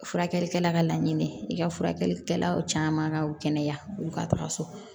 Furakɛlikɛla ka laɲini i ka furakɛlikɛla caman ka kɛnɛya u ka taga so